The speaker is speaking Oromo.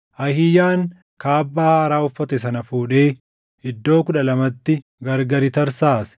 Ahiiyaan kaabbaa haaraa uffate sana fuudhee iddoo kudha lamatti gargari tarsaase.